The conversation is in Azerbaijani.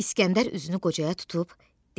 İsgəndər üzünü qocaya tutub dedi: